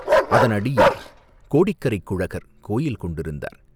அதனடியில் கோடிக்கரைக் குழகர், கோயில் கொண்டிருந்தார்.